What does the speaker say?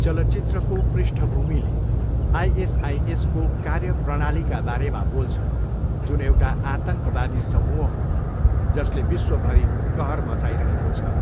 चलचित्रको पृष्ठभूमिले आइएसआइएसको कार्यप्रणालीका बारेमा बोल्छ जुन एउटा आतङ्कवादी समूह हो, जसले विश्वभरी कहर मचाइरहेको छ।